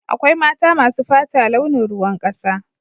Akwai mata masu fata launin ruwan kasa.